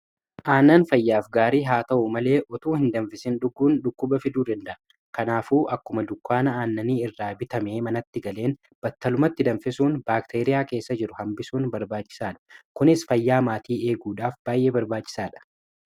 aannan fayyaaf gaarii haa ta'u malee utuu hin danfisiin dhugguun dhukkuba fiduu danda'a kanaafuu akkuma dukkaana aannanii irraa bitame manatti galeen battalumatti danfisuun baakteeriyaa keessa jiru hambisuun barbaachisaadha kunis fayyaa maatii eeguudhaaf baay'ee barbaachisaadha